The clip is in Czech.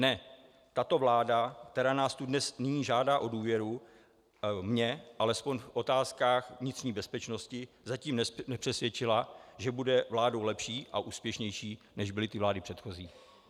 Ne, tato vláda, která nás tu dnes nyní žádá o důvěru, mě alespoň v otázkách vnitřní bezpečnosti zatím nepřesvědčila, že bude vládou lepší a úspěšnější, než byly ty vlády předchozí.